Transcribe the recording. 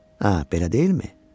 Hə, belə deyilmi?